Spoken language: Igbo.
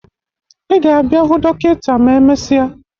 Ị ga-abịa hụ dọkịta ma emesịa